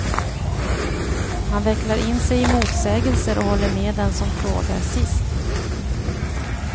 Han vecklar in sig i motsägelser och håller med den som frågar sist.